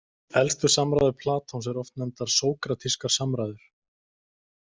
Elstu samræður Platons eru oft nefndar sókratískar samræður.